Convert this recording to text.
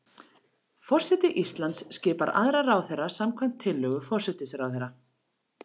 Forseti Íslands skipar aðra ráðherra samkvæmt tillögu forsætisráðherra.